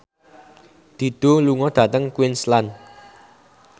Dido lunga dhateng Queensland